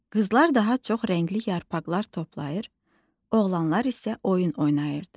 Qızlar daha çox rəngli yarpaqlar toplayır, oğlanlar isə oyun oynayırdı.